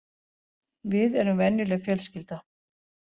Við erum venjuleg fjölskylda